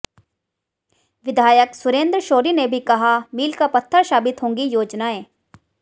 विधायक सुरेंद्र शौरी ने भी कहा मील का पत्थर साबित होंगी योजनाएं